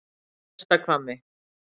Neðsta Hvammi